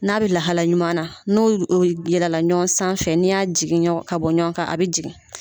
N'a bɛ lahala ɲuman na, n'o y o yɛlɛla ɲɔɔn sanfɛ n'i y'a jigin ɲɔɔn ka bɔ ɲɔɔn ka a bɛ jigin.